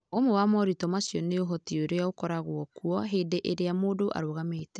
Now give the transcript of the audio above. Ũmwe wa moritũ macio nĩ Ũhoti ũrĩa ũkoragwo kuo hĩndĩ ĩrĩa mũndũ arũgamĩte.